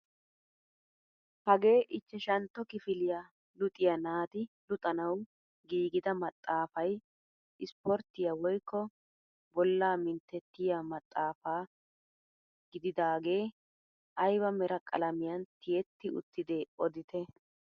Hagee ichchashshntto kifiliyaa luxiyaa naati luxanawu giigida maxaafay isporttiyaa woykko bollaa minttettiyaa maxafaa gididagee ayba mera qalamiyan tiyetti uttide odite?